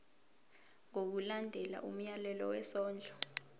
ngokulandela umyalelo wesondlo